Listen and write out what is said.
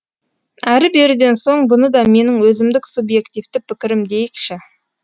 әрі беріден соң бұны да менің өзімдік субъективті пікірім дейікші